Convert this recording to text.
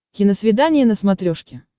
киносвидание на смотрешке